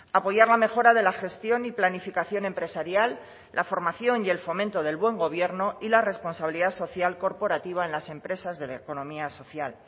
apoyar la mejora de la gestión y planificación empresarial la formación y el fomento del buen gobierno y la responsabilidad social corporativa en las empresas de economía social